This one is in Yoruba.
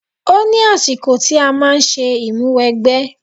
Ó ní àsìkò tí a máa ń ṣe ìmúwẹgbẹ́.